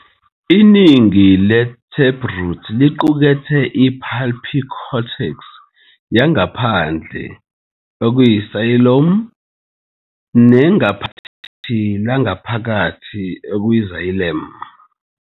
Iningi le-taproot liqukethe i- pulpy cortex yangaphandle, phloem, nengaphakathi langaphakathi, xylem.